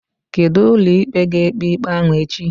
Kedu ụlọikpe ga-ekpe ikpe ahụ echi?